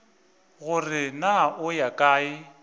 gore na o ya kae